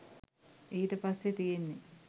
ඊට පස්සේ තියෙන්නේ